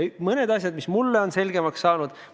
On mõned asjad, mis mulle on selgemaks saanud.